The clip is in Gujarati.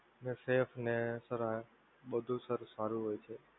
sir safe ને બધુ સારું હોય છે.